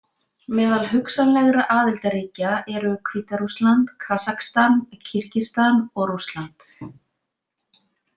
Meðal hugsanlegra aðildarríkja eru Hvíta-Rússland, Kasakstan, Kirgisistan og Rússland.